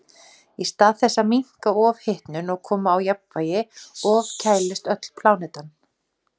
Í stað þess að minnka ofhitnun og koma á jafnvægi ofkælist öll plánetan.